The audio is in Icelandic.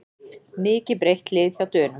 Mikið breytt lið hjá Dönum